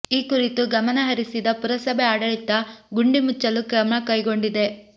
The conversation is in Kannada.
ಈ ಕುರಿತು ಗಮನ ಹರಿಸಿದ ಪುರಸಭೆ ಆಡಳಿತ ಗುಂಡಿ ಮುಚ್ಚಲು ಕ್ರಮ ಕೈಗೊಂಡಿದೆ